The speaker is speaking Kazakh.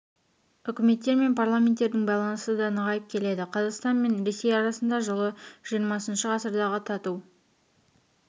үкіметтер мен парламенттердің байланысы да нығайып келеді қазақстан мен ресей арасында жылы жиырмасыншы ғасырдағы тату